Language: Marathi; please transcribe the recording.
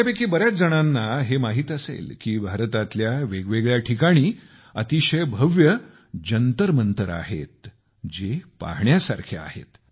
आपल्यापैकी बऱ्याच जणांना हे माहित असेल की भारतातील वेगवेगळ्या ठिकाणी अतिशय भव्य जंतरमंतर आहेत जे पाहण्यासारखे आहेत